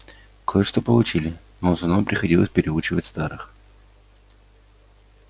кое-что получили но в основном приходилось переучивать старых